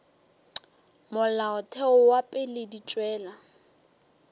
molaotheo wa pele di tšwela